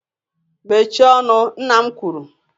Mechie ọnụ nna m kwuru.